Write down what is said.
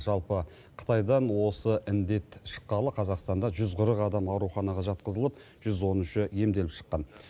жалпы қытайдан осы індет шыққалы қазақстанда жүз қырық адам ауруханаға жатқызылып жүз он үші емделіп шыққан